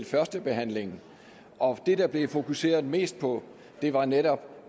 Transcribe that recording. førstebehandlingen og det der blev fokuseret mest på var netop